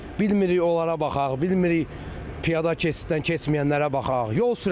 Bilirik onlara baxaq, bilmirik piyada keçiddən keçməyənlərə baxaq.